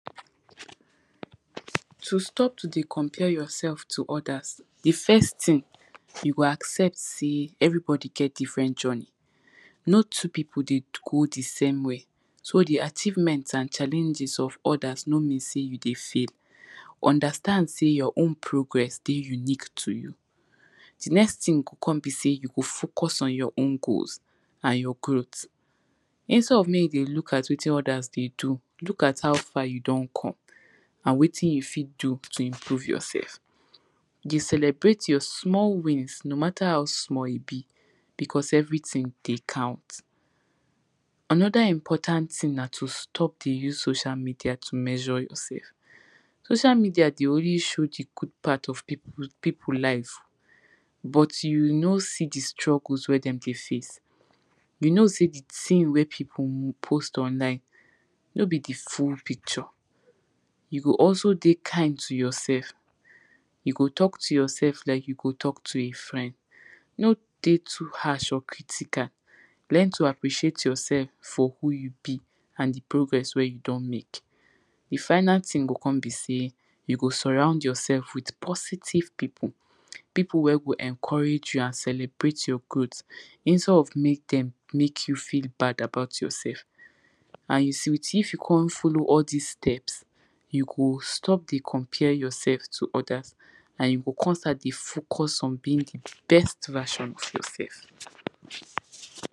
To stop to dey compare yourself to others, di first thing you go accept sey everybody get different journey, no two pipo dey go the same way. So the achievement and challenges of others no mean sey, you dey fail. Understand sey your own progress dey unique to you, di next thing go con be sey, you go focus on your own goals and your growth, instead of mek you dey look at wetin others dey do, look at how far you don come and wetin you fit do to improve yourself. Dey celebrate your small wins no matter how small e be because, everything dey count. Another important thing na to stop dey use social media life to measure yourself. Social media dey always show di good part of pipu, pipu life but you no see di struggles wey dem dey face, you know sey di thing wey pipo post online, no be di full picture. You go also, dey kind to yourself, you go tok to yourself like you go tok to a friend, no dey too harsh or critical, learn to appreciate yourself for who you be and di progress wey you don mek. Di final thing go con be sey, you go surround yourself with positive pipu, pipu wey go encourage you, and celebrate you and celebrate your growth. Instead of mek dem, mek you feel bad about yourself and you see, if you con follow dis steps you go stop dey compare yourself to others and you go con start dey focus on being the best version of yourself.